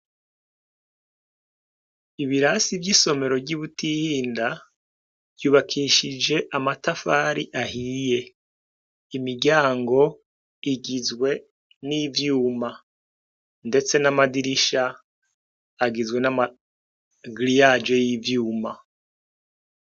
Ibirasi vy'isomero ryi Butihinda ryubakishije amatafari ahiye imiryango igizwe n'ivyuma ndetse ndetse n'amadirisha agizwe namagiriyaje y'ivyuma